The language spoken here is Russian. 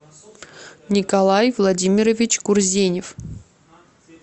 николай владимирович курзенев